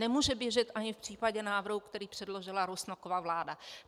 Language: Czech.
Nemůže běžet ani v případě návrhu, který předložila Rusnokova vláda.